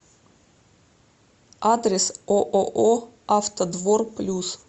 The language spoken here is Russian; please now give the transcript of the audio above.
адрес ооо автодвор плюс